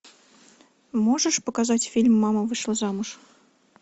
можешь показать фильм мама вышла замуж